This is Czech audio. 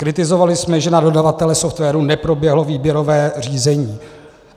Kritizovali jsme, že na dodavatele softwaru neproběhlo výběrové řízení.